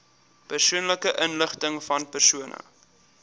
persoonlike inligtingvan persone